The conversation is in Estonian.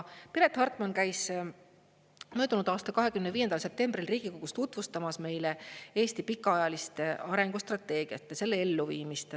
Piret Hartman käis möödunud aasta 25. septembril Riigikogus tutvustamas meile Eesti pikaajalist arengustrateegiat ja selle elluviimist.